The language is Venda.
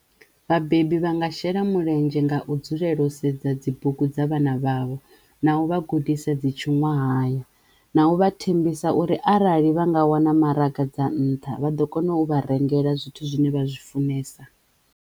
Vhabebi vha nga shela mulenzhe nga u dzulela u sedza dzi bugu dza vhana vhavho na uvha gudisa dzi tshiṅwahaya naho vha thembisa uri arali vha nga wana maraga dza nṱha vha ḓo kona u vha rengela zwithu zwine vha zwi funesa.